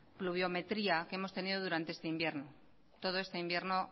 pluviometría que hemos tenido durante este invierno todo este invierno